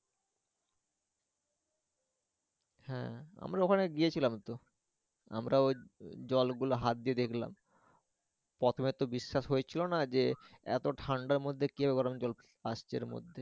হ্যা আমরা ওখানে গিয়েছিলাম তো আমরা ওই জল গুলা হাত দিয়ে দেখলাম প্রথমে তো বিশ্বাস হচ্ছিলো না যে ওতো ঠান্ডার মধ্যে কিভাবে গরম জল আসছে এর মধ্যে।